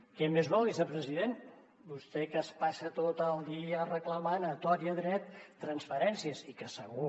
què més vol vicepresident vostè que es passa tot el dia reclamant a tort i a dret transferències i que segur